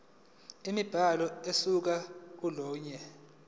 imibhalo ukusuka kolunye